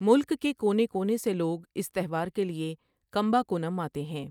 ملک کے کونے کونے سے لوگ اس تہوار کے لیے کمباکونم آتے ہیں۔